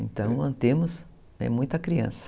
Então, temos muita criança.